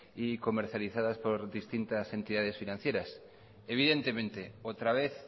y comercializadas por distintas entidades financieras evidentemente otra vez